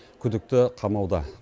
күдікті қамауда